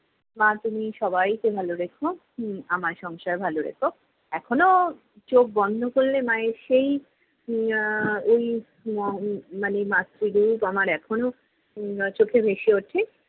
মা তুমি সবাইকে ভালো রেখো, হম আমার সংসার ভালো রেখো। এখনও চোখ বন্ধ করলে মায়ের সেই উম আহ ওই উহ মানে মাত্রি রূপ আমার এখনও উহ চোখে ভেসে উঠে।